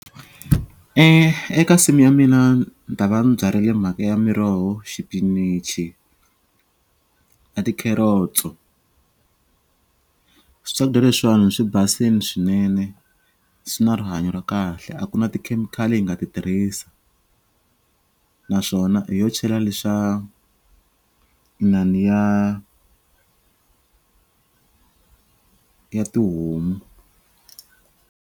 Eka nsimu ya mina ni ta va ni byarile mhaka ya miroho xipinichi na ti-carrots-o swakudya leswiwani swi basini swinene swi na rihanyo ra kahle a ku na tikhemikhali hi nga ti tirhisa naswona hi yo chela leswa i na ni ya ya tihomu.